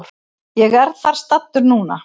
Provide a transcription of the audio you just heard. Ég er þar staddur núna.